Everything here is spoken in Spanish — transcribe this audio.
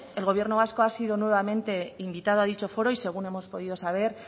el gobierno vasco ha sido nuevamente invitado a dicho foro y según hemos podido saber